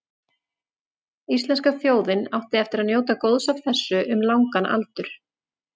Íslenska þjóðin átti eftir að njóta góðs af þessu um langan aldur.